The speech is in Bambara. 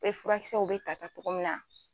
furakisɛw bɛ ta ta cogo min na.